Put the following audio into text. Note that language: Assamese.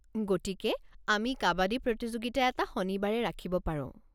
গতিকে আমি কাবাদী প্ৰতিযোগিতা এটা শনিবাৰে ৰাখিব পাৰো।